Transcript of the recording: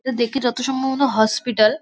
এ দেখে যত সম্ভবত হসপিটাল ।